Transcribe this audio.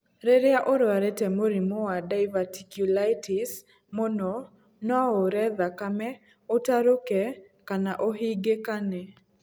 Rĩrĩa ũrwarĩte mũrimũ wa diverticulitis mũno no ure thakame, ũtarũke kana ũhingĩkane.